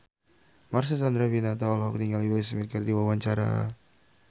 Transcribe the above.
Marcel Chandrawinata olohok ningali Will Smith keur diwawancara